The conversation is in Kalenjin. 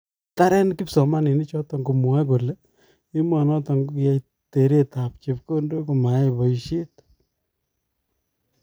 Kitaren kipsomaninik choton komwae kole emonoton kokiyai tereet ab chekondook komayai boisiet.